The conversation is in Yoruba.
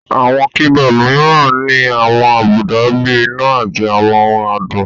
Àwọn keyboard mìíràn ní àwọn àbùdá bíi iná àti àwọn ohùn adùn